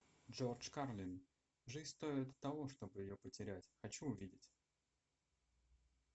джордж карлин жизнь стоит того чтобы ее потерять хочу увидеть